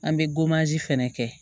An bɛ fɛnɛ kɛ